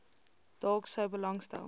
dalk sou belangstel